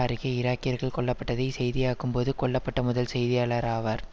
அருகே ஈராக்கியர்கள் கொல்ல பட்டதை செய்தியாக்கும்போது கொல்ல பட்ட முதல் செய்தியாளராவார்